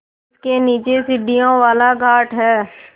जिसके नीचे सीढ़ियों वाला घाट है